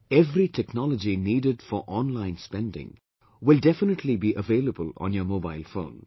Every technology needed for online spending will definitely be available on your mobile phone